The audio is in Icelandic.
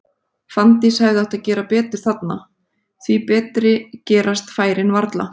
Fanndís hefði átt að gera betur þarna, því betri gerast færin varla.